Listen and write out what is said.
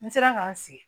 N sera ka n sigi